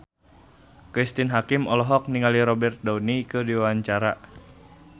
Cristine Hakim olohok ningali Robert Downey keur diwawancara